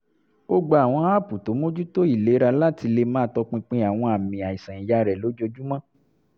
ó gba àwọn aápù tó mójútó ìlera láti lè máa tọpinpin àwọn àmì àìsàn iyá rẹ̀ lójoojúmọ́